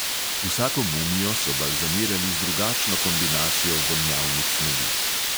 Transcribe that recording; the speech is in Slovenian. Vsako mumijo so balzamirali z drugačno kombinacijo vonjavnih snovi.